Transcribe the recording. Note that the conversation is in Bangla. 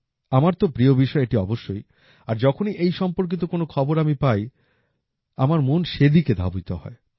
আমার তো প্রিয় বিষয় এটি অবশ্যই আর যখনই এই সম্পর্কিত কোনো খবর আমি পাই আমার মন সেদিকে ধাবিত হয়